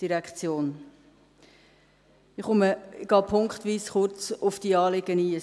Ich gehe punktweise kurz auf die Anliegen ein.